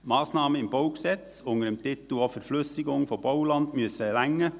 Massnahmen im BauG, auch unter dem Titel Verflüssigung von Bauland, müssen ausreichen.